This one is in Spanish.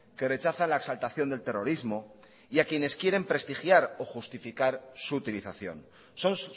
que rechaza la exaltación del terrorismo y a quienes quieren prestigiar o justificar su utilización son